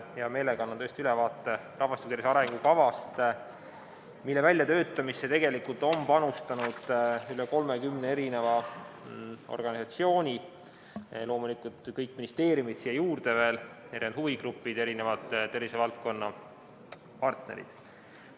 Hea meelega annan tõesti ülevaate rahvastiku tervise arengukavast, mille väljatöötamisse on panustanud üle 30 organisatsiooni, loomulikult siia juurde veel kõik ministeeriumid ning erinevad huvigrupid ja tervisevaldkonna partnerid.